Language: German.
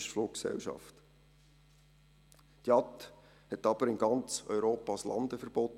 Die Fluggesellschaft JAT hatte aber in ganz Europa ein Landeverbot.